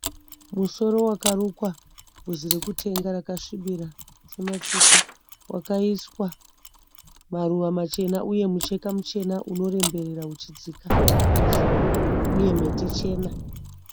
Musoro wakarukwa bvudzi rokutenga rakasvibira sematsito. Wakaiswa maruva machena uye mucheka muchena unoremberera uchidzika nomusoro uye mhete chena.